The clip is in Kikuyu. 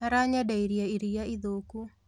Aranyendeirie iria ithũku